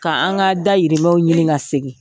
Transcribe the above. Ka an ka dayirimɛnw ɲini ka segi.